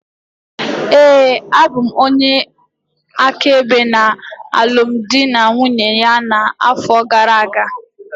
Ee, abụ m onye áká ebe ya na alụmdi na nwunye ya na-afọ gara-aga.